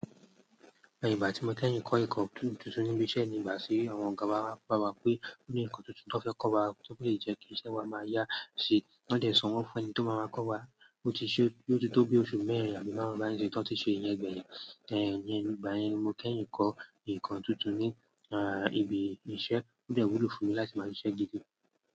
Ẹyin ìgbà tí mo kẹ́yìn ń kọ ẹ̀kọ́ tuntun níbi iṣẹ́ ní ìgbà sí àwọn ọ̀gá wa, bá wa pé ó ní ǹkan tuntun tó fẹ́ kọ́ wa tí ó lè jẹ́ kí iṣẹ́ wa máa yá, ṣe wọ́n dẹ̀ sanwó fún ẹni tí ó máa máa kọ́ wa, bó ti ṣe yóò tó bí oṣù mẹ́rin àbí márùn-ún bá nìyẹn tí wọ́n ti ṣe ìyẹn gbẹ̀yìn. Ẹ̀yin ìgbà yẹn ni mo kẹ́yìn ń kọ ẹ̀kọ́ tuntun ní ibi iṣẹ́, ó dẹ̀ wúlò fún mi láti máa ṣe iṣẹ́ gidi.